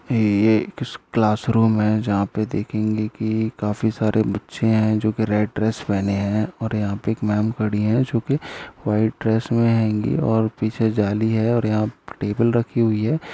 ये एक class room है जहा पे देखेंगे कि काफी सारे बच्चे हैं जो की रेड ड्रेस पहने हैं और यहाँ पे एक मैम खड़ी है जो की व्हाइट ड्रेस में हेगी और पीछे जाली है और यह टेबल रखी हुई है।